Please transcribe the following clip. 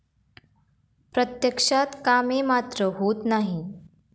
प्रत्यक्षात कामे मात्र होत नाही.